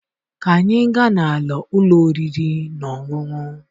Ka anyị gaa n'ala ụlọ oriri na ọṅụṅụ.